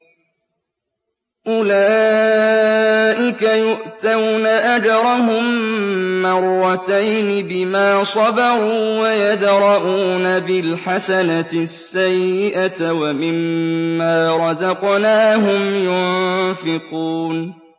أُولَٰئِكَ يُؤْتَوْنَ أَجْرَهُم مَّرَّتَيْنِ بِمَا صَبَرُوا وَيَدْرَءُونَ بِالْحَسَنَةِ السَّيِّئَةَ وَمِمَّا رَزَقْنَاهُمْ يُنفِقُونَ